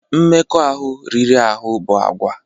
Mmekọahụ riri ahụ bụ àgwà